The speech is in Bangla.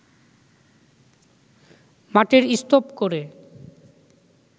মাটির স্তুপ করে